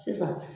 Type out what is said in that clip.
Sisan